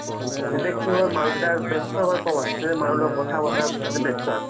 হয়। মোক বিহুত ভাল লাগে এইকেটা চাবলৈ। সৰুৰ পৰাই মোৰ interest আছে